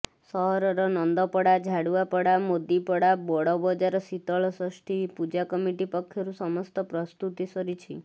ସହରର ନନ୍ଦପଡା ଝାଡୁଆପଡା ମୋଦିପଡା ବଡବଜାର ଶୀତଳଷଷ୍ଠୀ ପୂଜା କମିଟି ପକ୍ଷରୁର ସମସ୍ତ ପ୍ରସ୍ତୁତି ସରିଛି